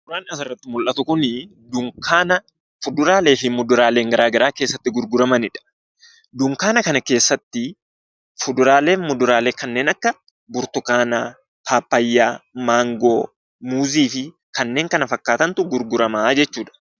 Suuraan asirratti mul'atu kun dunkaana kuduraalee fi muduraalee garaagaraa keessatti gurguramanidha. Dunkaana kana keessatti fuduraalee fi kuduraalee kan akka burtukaanaa, pappaayaa, maangoo, muuzii fi kanneen kana fakkaatantu gurgurama jechuudha.